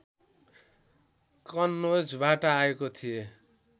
कन्नोजबाट आएको थिए